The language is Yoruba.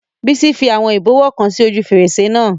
Bísí fi àwọn ìbọwọ́ kan sí ojú fèrèsé náà